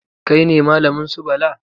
Kai ne malamin su Bala?